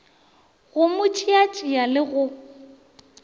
go mo tšeatšea le go